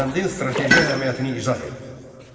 Dərbəndin strateji əhəmiyyətini izah et.